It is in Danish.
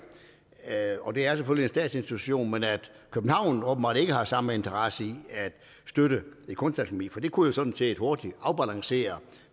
og det er selvfølgelig en statsinstitution at københavn åbenbart ikke har samme interesse i at støtte et kunstakademi for det kunne jo sådan set hurtigt afbalancere